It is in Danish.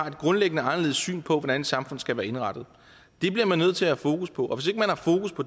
et grundlæggende anderledes syn på hvordan et samfund skal være indrettet bliver man nødt til at have fokus på